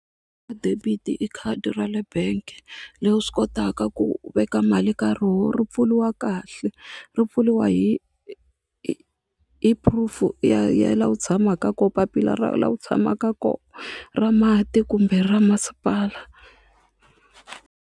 Debit i khadi ra le bank le u swi kotaka ku veka mali ka roho ri pfuriwa kahle ri pfuriwa hi hi hi proof ya ya laha u tshamaka kona papila ra laha u tshamaka kona ra mati kumbe ra masipala.